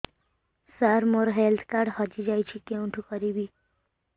ସାର ମୋର health card ହଜି ଯାଇଛି କେଉଁଠି କରିବି